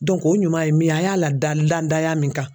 o ɲuman ye min ye a y'a ladan dandaya min kan.